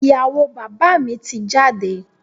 Ìyàwó bàbá mi ti jáde.